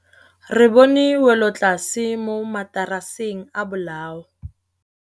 Re bone wêlôtlasê mo mataraseng a bolaô.